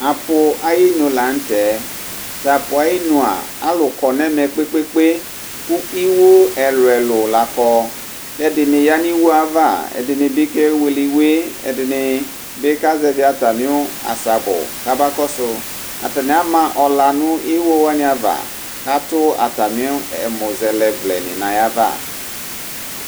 apu ayinu latɛ tapu ayinu alʊ kɔ nɛmɛ kpekpe kʊ ɩwu ɛlʊ ɛlʊ la kɔ kɛdini yanu ɩwuɛva ɛdinibi ke wele ɩwue , ɛdinibi kazevi atami asabʊ kabakɔsu , atani ama ɔla nu ɩwuwani ava katʊ atami ɛmusɛlɛ vlɛni nayava